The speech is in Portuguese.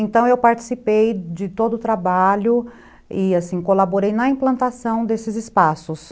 Então, eu participei de todo o trabalho e, assim, colaborei na implantação desses espaços.